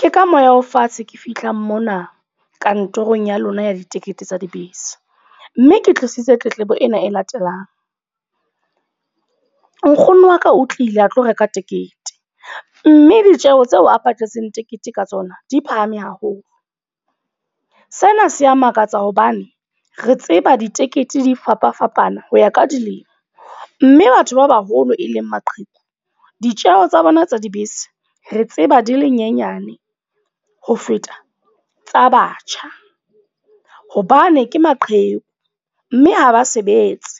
Ke ka moya o fatshe ke fihla mona kantorong ya lona ya ditikete tsa dibese. Mme ke tlisitse tletlebo ena e latelang. Nkgono waka o tlile a tlo reka ticket, mme ditjeho tseo a patetseng tekete ka tsona di phahame haholo. Sena se ya makatsa hobane re tseba ditekete di fapa-fapana ho ya ka dilemo. Mme batho ba baholo e leng maqheku. Ditjeho tsa bona tsa dibese, re tseba di le nyenyane ho feta tsa batjha. Hobane ke maqheku, mme ha ba sebetse.